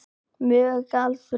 Mörg gjaldþrot